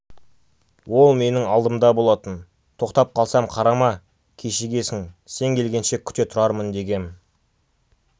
ол менің алдымда болатын тоқтап қалсам қарама кешігесің сен келгенше күте тұрармын дегем